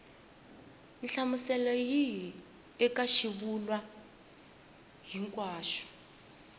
nhlamuselo yihi eka xivulwa hinkwaxo